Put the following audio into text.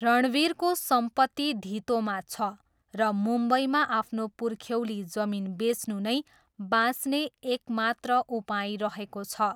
रणवीरको सम्पत्ति धितोमा छ र मुम्बईमा आफ्नो पुर्ख्यौली जमिन बेच्नु नै बाँच्ने एक मात्र उपाय रहेको छ।